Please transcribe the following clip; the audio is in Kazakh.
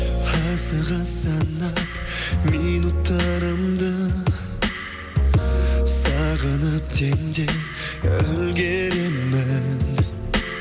асыға санап минуттарымды сағынып демде үлгеремін